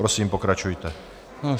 Prosím, pokračujte.